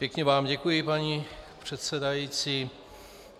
Pěkně vám děkuji, paní předsedající.